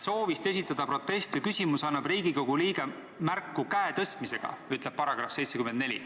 Soovist esitada protest või küsimus annab Riigikogu liige märku käe tõstmisega, nii ütleb § 74.